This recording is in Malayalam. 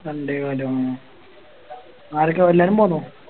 രണ്ടേകാലോ ആ ആരെക്കെയാ എല്ലാരും പൊന്നോ